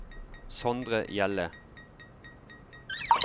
Sondre Hjelle